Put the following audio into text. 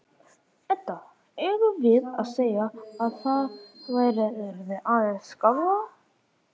Edda: Eigum við að segja að það verði aðeins skárra?